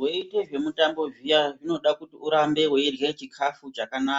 Weite zvemutambo zviya zvinoda kuti urambe weirya chikafu chakana